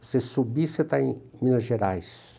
Você subir, você está em em Minas Gerais.